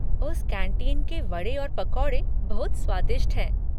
उस कैंटीन के वड़े और पकौड़े बहुत स्वादिष्ट हैं।